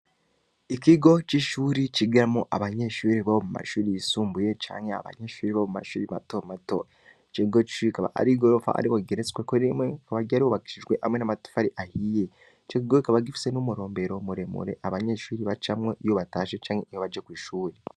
Ikigo c'ishuri kigiramo abanyeshuri bo mu mashuri yisumbuye canke abanyeshuri bo mu mashuri matomato jego cbikaba ari i gorofa ari ko ggeretsweko rimwe nko baryarubakishijwe hamwe n'amatufa ari ahiye cikigore kaba gifise n'umurombero muremure abanyeshuri bacamwo iyo batashe canke iyobaje ko'ishuri.